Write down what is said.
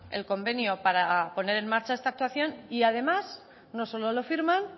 el convenio para poner en marcha esta actuación y además no solo lo firman